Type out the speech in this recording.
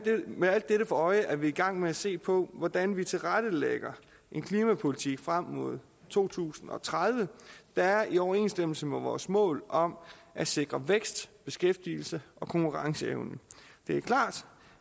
med alt dette for øje er vi i gang med at se på hvordan vi tilrettelægger en klimapolitik frem mod to tusind og tredive der er i overensstemmelse med vores mål om at sikre vækst beskæftigelse og konkurrenceevne det er klart